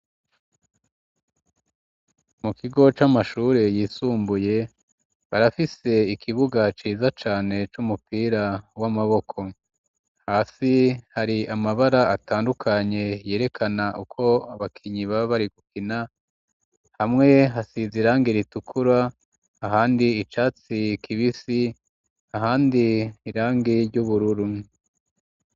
Mu kigo c'amashure yisumbuye barafise ikibuga ciza cane c'umupira w'amaboko hasi hari amabara atandukanye yerekana uko abakinyi baba bari gukina hamwe hasize irangi ritukura ahandi icatsi kibisi ahandi irangi ry'ubururu.